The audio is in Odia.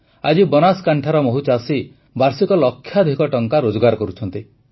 ଆଜି ବନାସକାଣ୍ଠାର ମହୁଚାଷୀ ବାର୍ଷିକ ଲକ୍ଷାଧିକ ଟଙ୍କା ରୋଜଗାର କରୁଛନ୍ତି